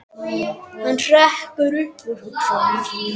Hann hrekkur upp úr hugsunum sínum.